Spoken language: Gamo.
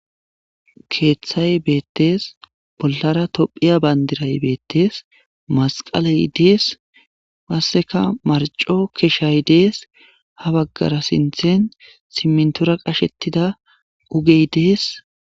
Keeththay beettes bollara tophiya bandiray beettes masqaley dees passeka marco keshshay dees ha baggara sinthen simintora qashettida ugey dees